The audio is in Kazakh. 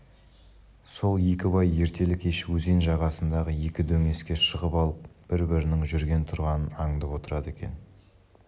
сол екі бай ертелі-кеш өзен жағасындағы екі дөңеске шығып алып бір-бірінің жүрген-тұрғанын аңдып отырады екен